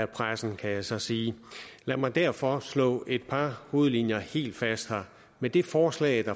pressen kan jeg så sige lad mig derfor slå et par hovedlinjer helt fast med det forslag